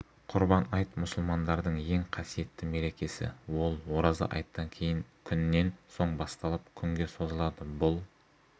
құрбан айт мұсылмандардың ең қасиетті мерекесі ол ораза айттан кейін күннен соң басталып күнге созылады бұл